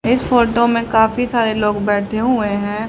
इस फोटो में काफी सारे लोग बैठे हुए हैं।